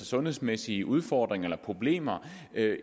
sundhedsmæssige udfordringer eller problemer